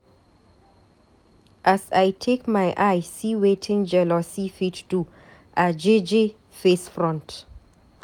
As I take my eye see wetin jealousy fit do, I jeje face front.